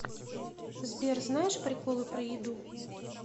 сбер знаешь приколы про еду